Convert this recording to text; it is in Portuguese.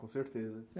Com certeza.